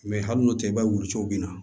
Mɛ hali n'o tɛ i b'a ye wuluciw bɛ na